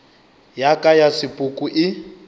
ya ka ya sepoko e